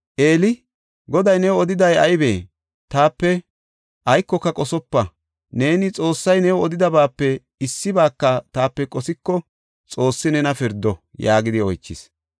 Eeli, “Goday new odiday aybee? Taape aykoka qosopa; neeni Xoossay new odidabaape issibaaka taape qosiko, Xoossi nena pirdo” yaagidi oychis.